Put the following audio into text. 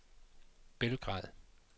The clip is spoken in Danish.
Belgrad